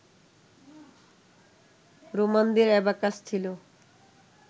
রোমানদের abacus ছিল